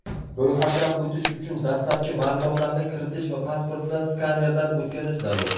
Ro‘yxatdan o‘tish uchun dastlabki ma’lumotlarni kiritish va pasportni skanerdan o‘tkazish zarur.